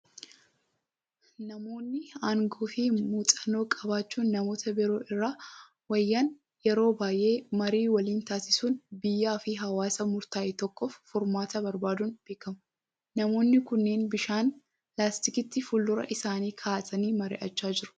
Namoonni aangoo fi muuxannoo qabaachuun namoota biroo irra wayyan yeroo baay'ee marii waliin taasisuun biyyaa fi hawaasa murtaa'e tokkoof furmaata barbaaduun beekamu. Namoonni kunneen bishaan laastikiitti fuuldura isaanii kaa'atanii marii'achaa jiru.